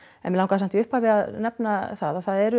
en mig langaði samt í upphafi að nefna það að það eru